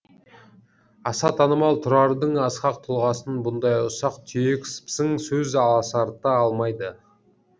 аса танымал тұрардың асқақ тұлғасын бұндай ұсақ түйек сыпсың сөз аласарта алмайды